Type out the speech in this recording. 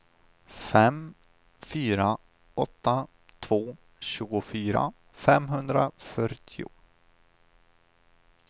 fem fyra åtta två tjugofyra femhundrafyrtio